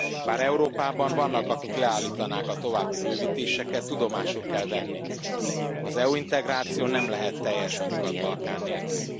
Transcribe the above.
Bár Európában vannak, akik leállítanák a további bővítéseket, tudomásul kell venni az EU integráció nem lehet teljes a Nyugat Balkán nélkül.